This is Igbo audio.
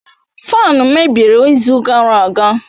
Faanu mebiri izu gara aga.